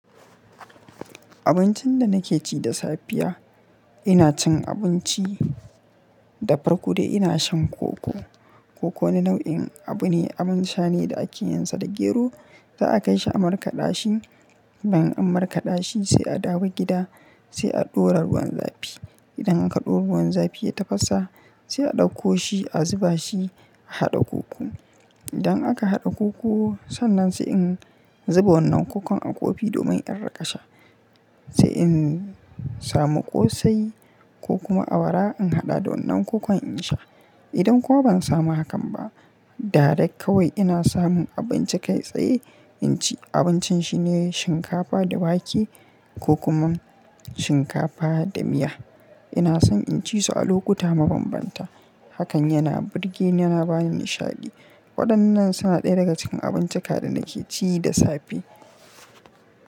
Abincin da nake ci da safiya, ina cin abinci da farko dai ina shan koko. Koko wani nau'in abu ne, abin sha ne da ake yinsa da gero. Za a kai shi a markaɗashi. Idan an markaɗashi sai a dawo gida sai a ɗora ruwan zafi. Idan aka ɗora ruwan zafi ya tafasa sai a ɗauko shi a zuba shi a haɗa koko. Idan aka haɗa koko, sannan sai in zuba wannan kokon a kofi domin in riƙasha. Sai in samu ƙosai ko kuma awara in haɗa da wannan kokon in sha. Idan kuma ban samu hakan ba, direct kawai ina samun abinci kai tsaye in ci. Abincin shine shinkafa da wake ko kuma shinkafa da miya. Ina son in ci su a lokuta mabambanta. Hakan yana burge ni yana bani nishaɗi. Waɗannan suna ɗaya daga cikin abincika da nake ci da safe.